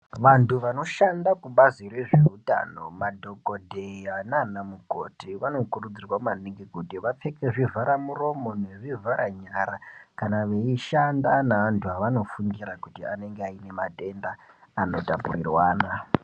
Vantu vanoshanda kubazi rezveutano madhokodheya naanamukoti vanokurudzirwa maningi kuti vapfeke zvivhara muromo nezvivhara nyara kana veishanda neantu avanofungira kuti anenge aine matenda anotapurirwana.